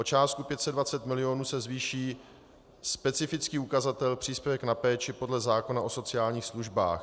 O částku 520 mil. se zvýší specifický ukazatel příspěvek na péči podle zákona o sociálních službách.